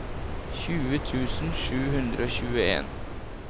tjue tusen sju hundre og tjueen